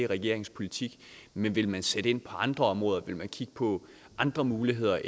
regeringens politik men vil man sætte ind på andre områder vil man kigge på andre muligheder